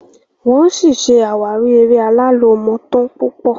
wón sí ṣe àwárí èrè Alalomotan púpọ